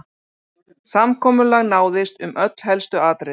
Samkomulag náðist um öll helstu atriði